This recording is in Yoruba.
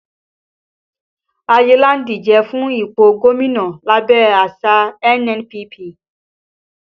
Ayinla ń díje fún ipò gómìnà lábẹ́ àsìá NNPP